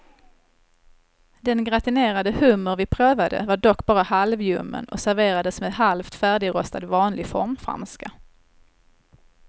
Den gratinerade hummer vi prövade var dock bara halvljummen och serverades med halvt färdigrostad vanlig formfranska.